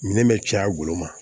Minɛn bɛ caya goloma